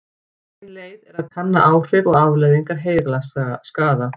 Ein leið er að kanna áhrif og afleiðingar heilaskaða.